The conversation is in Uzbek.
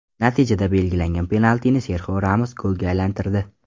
Natijada belgilangan penaltini Serxio Ramos golga aylantirdi.